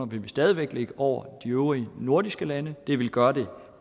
vil vi stadig væk ligge over de øvrige nordiske lande det ville gøre det